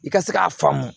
I ka se k'a faamu